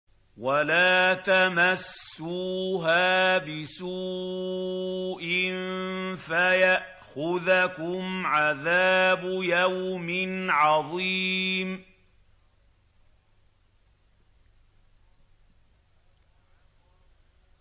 وَلَا تَمَسُّوهَا بِسُوءٍ فَيَأْخُذَكُمْ عَذَابُ يَوْمٍ عَظِيمٍ